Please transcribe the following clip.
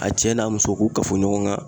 A cɛ n'a muso k'u kafo ɲɔgɔn kan